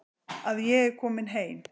Að ég er komin heim.